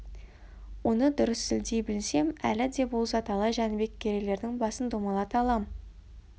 оны дұрыс сілтей білсем әлі де болса талай жәнібек керейлердің басын домалата алам